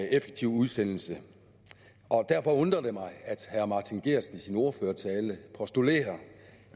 en effektiv udsendelse og derfor undrer det mig at herre martin geertsen i sin ordførertale postulerer